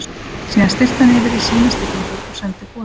Síðan stillti hann yfir í sína stillingu og sendi boðin.